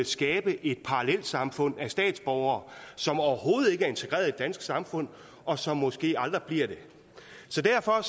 skabe et parallelsamfund af statsborgere som overhovedet ikke er integreret i det danske samfund og som måske aldrig bliver det så derfor er